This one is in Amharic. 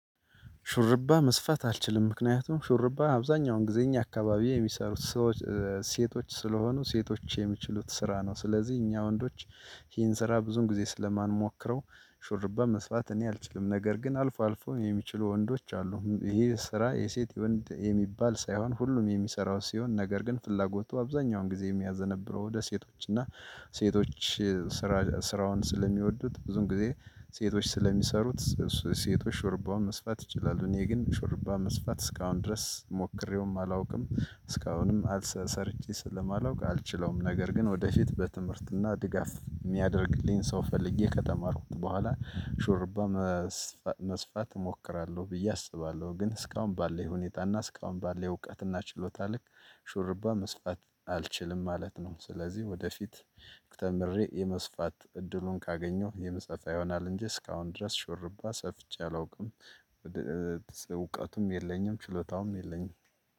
ሹርባ መስፋት አልችልም ምክንያቱም ሹርባ አብዛኛውን ጊዜ እኛ አካባቢ የሚሰሩት ሰዎች ሴቶች ስለሆኑ ሴቶች የሚችሉት ስራ ነው ስለዚህ እኛ ወንዶች ይሄን ስራ ብዙን ጊዜ ስለማንሞክረው ሹርባ መስፋት እኔ አልችልም ነገር ግን አልፎ አልፎ የሚችሉ ወንዶች አሉ ይሄ ስራ የሴት የወንድ የሚባል ሳይሆን ሁሉም የሚሰራው ሲሆን ነገር ግን ፍላጎቱ አብዛኛውን ጊዜ የሚያዘነብለው ወደ ሴቶች እና ሴቶች ስራ ስራውን ስለሚወዱት ብዙን ጊዜ ሴቶች ስለሚሰሩት ሴቶች ሹርባው መስፋት ይችላሉ። እኔ ግን ሹርባ መስፋት እስካሁን ድረስ ሞክሬውም አላውቅም እስካሁንም ሰርቼ ስለማላውቅ አልችለውም። ነገር ግን ወደፊት በትምህርትና ድጋፍ የሚያደርግልኝ ሰው ፈልጌ ከተማርኩት በኋላ ሹርባ መስፋት እሞክራለሁ ብዬ አስባለሁ። ግን እስካሁን ባለው ሁኔታ እና እስካሁን ባለው እውቀት እና ችሎታ ልክ ሹርባ መስፋት አልችልም ማለት ነው። ስለዚህ ወደፊት ተምሬ የመስፋት እድሉን ካገኘሁ የምሰፋ ይሆናል እንጂ እስካሁን ድረስ ሽርባ ሰፍቼ አላውቅም። እውቀቱም የለኝም ችሎታውም የለኝም።